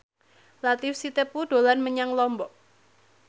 Latief Sitepu dolan menyang Lombok